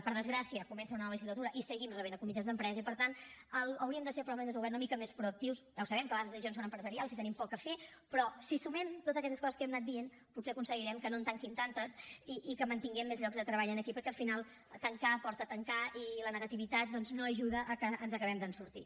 per desgràcia comença una nova legislatura i seguim rebent comitès d’empresa i per tant hauríem de ser probablement més oberts una mica més proactius ja ho sabem que a vegades les decisions són empresarials i hi tenim poc a fer però si sumem totes aquestes coses que hem anat dient potser aconseguirem que no en tanquin tantes i que mantinguem més llocs de treball aquí perquè al final tancar porta a tancar i la negativitat doncs no ajuda que ens n’acabem de sortir